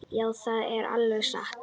Já, það er alveg satt.